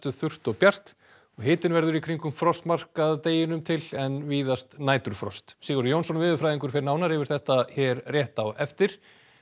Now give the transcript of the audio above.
þurrt og bjart og hitinn verður í kringum frostmarkið að degi til en víðast næturfrost Sigurður Jónsson veðurfræðingur fer nánar yfir þetta hér rétt á eftir